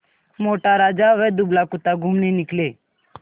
मोटा राजा व दुबला कुत्ता घूमने निकले